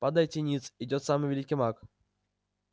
падайте ниц идёт самый великий маг